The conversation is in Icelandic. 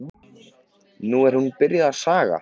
Nú er hún byrjuð að saga.